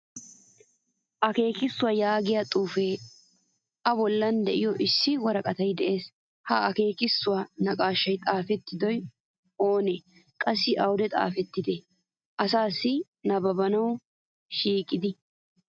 Akekisuwaa yaagiyaa xuufe a bollan deiyo issi woraqqatay de'ees. Ha akekisuwaa naaqqashsha xaafidage oone? Qassi awude xaafettidi asaasi nabbabbuwawu shiiqide?